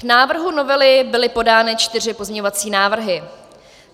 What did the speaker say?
K návrhu novely byly podány čtyři pozměňovací návrhy.